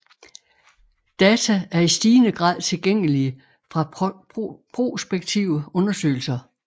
Data er i stigende grad tilgængelige fra prospektive undersøgelser